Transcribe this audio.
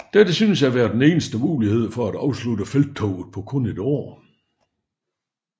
Dette syntes at være den eneste mulighed for at afslutte felttoget på kun et år